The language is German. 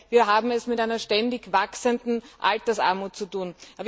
Wir haben es mit einer ständig wachsenden Altersarmut zu tun.